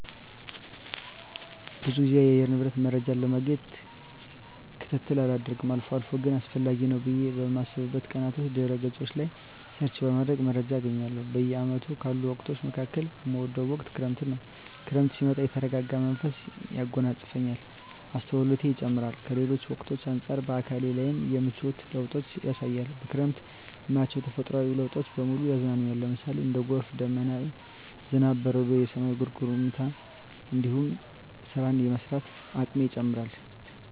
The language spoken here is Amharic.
ብዙ ግዜ የአየር ንብረት መረጃን ለማግኘት ክትትል አላደርግም አልፎ አልፎ ግን አስፈላጊ ነው ብየ በማስብበት ቀናቶች ድህረ ገጾች ላይ ሰርች በማድረግ መረጃ አገኛለሁ። በአመቱ ካሉ ወቅቶች መካከል እምወደው ወቅት ክረምትን ነው። ክረምት ሲመጣ የተረጋጋ መንፈስ ያጎናጽፈኛል፣ አስተውሎቴ ይጨምራር፣ ከሌሎች ወቅቶች አንጻር በአካሌ ላይም የምቿት ለውጦችን ያሳያል፣ በክረምት እማያቸው ተፈጥሮአዊ ለውጦች በሙሉ ያዝናኑኛል ለምሳሌ:- እንደ ጎርፍ፣ ደመና፣ ዝናብ፣ በረዶ፣ የሰማይ ጉርምርምታ እንዲሁም ስራን የመስራት አቅሜ ይጨምራር